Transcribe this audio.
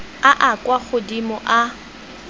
a a kwa godimo a